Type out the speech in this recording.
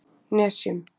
Nesjum